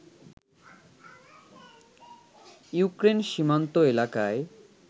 Ukraine সীমান্ত এলাকায়